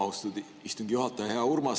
Austatud istungi juhataja!